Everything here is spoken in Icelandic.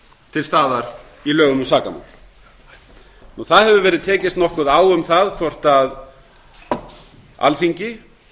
til staðar í lögum um sakamál það hefur verið tekist nokkuð á um það hvort alþingi